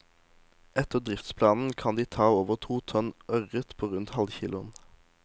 Etter driftsplanen kan de ta over to tonn ørret på rundt halvkiloen.